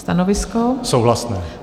Stanovisko: souhlasné.